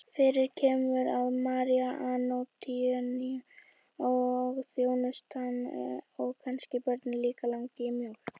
Fyrir kemur að Maríu Antoníu og þjónustuna og kannski börnin líka langar í mjólk.